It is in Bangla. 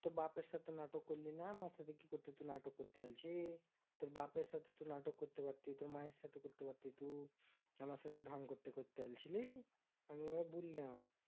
তোর বাপের সাথে নাটক করলিনা আমার সাথে কি করতে নাটক করতে আলছিস তোর বাপের সাথে তোর নাটক করতে পারতিস তোর মায়ের সাথে করতে পারতিস তো আমার সাথে ঢং করতে করতে আইছিলিস আমি ওয়াই বুললাম ।